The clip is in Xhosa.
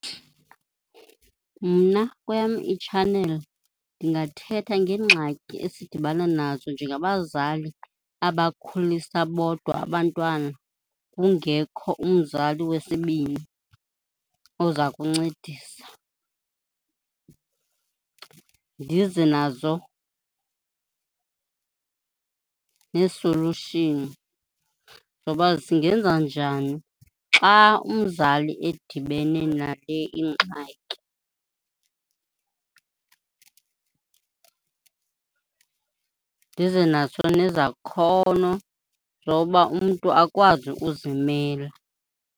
Mna kweyam itshaneli ndingathetha ngeengxaki esidibana nazo njengabazali abakhulisa bodwa abantwana kungekho umzali wesibini oza kuncedisa. Ndize nazo neesolushini zoba singenza njani xa umzali edibene nale ingxaki. Ndize nazo nezakhono zoba umntu akwazi uzimela.